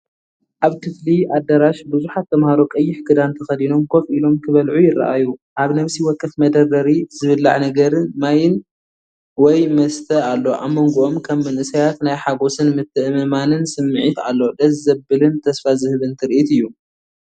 ኣብ ክፍሊ/ኣዳራሽ ብዙሓት ተማሃሮ ቀይሕ ክዳን ተኸዲኖም ኮፍ ኢሎም ክበልዑ ይረኣዩ። ኣብ ነፍሲ ወከፍ መደርደሪ ዝብሓዕ ነገርን ማይን ወይ መስተ ኣሎ። ኣብ መንጎኦም ከም መንእሰያት ናይ ሓጎስን ምትእምማንን ስምዒት ኣሎ። ደስ ዘብልን ተስፋ ዝህብን ትርኢት እዩ።